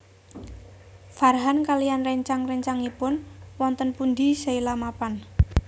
Farhan kaliyan réncang réncangipun wonten pundi Sheila mapan